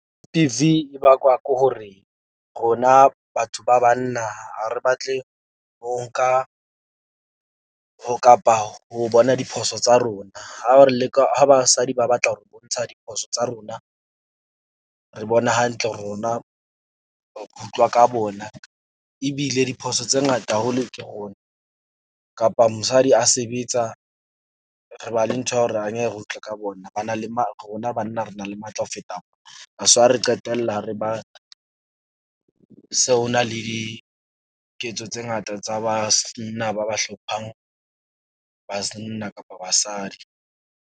E bakwa ke hore, rona batho ba banna, ha re batle ho nka ho kapa ho bona diphoso tsa rona. Ha re leka ha basadi ba batla hore bontsha diphoso tsa rona. Re bona hantle, rona ho utlwa ka bona ebile diphoso tse ngata haholo, ke rona kapa mosadi ha sebetsa. Re ba le ntho ya hore angeke re utlwe ka bona, ba na le ma rona banna, re na le matla ho feta that's why re qetella re ba se ho na le diketso tse ngata tsa ba ba hlopha-ng. kapa basadi.